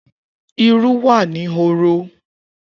Iru wa ni horo.